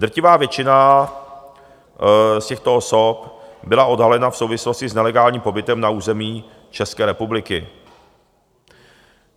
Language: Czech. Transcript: Drtivá většina z těchto osob byla odhalena v souvislosti s nelegálním pobytem na území České republiky.